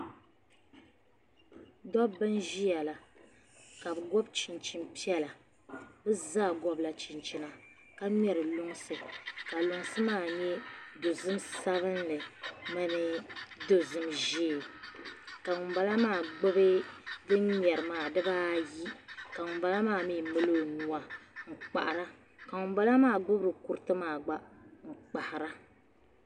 Dabbi n ʒiya la , kabɛ gobi chinchini piɛla. bɛ zaa gobila chinchina. ka ŋmeri lunsi, ka lunsi nyɛ dozim sabinli.ni dozim ʒɛɛ ka ŋun bala maa mi gbubi din ŋmeri maa, dibaayi. ka ŋun bala za mi mali ɔnuu n kpahiri ka ŋun bala maa mi gbubi kuriti ayi nkpahira.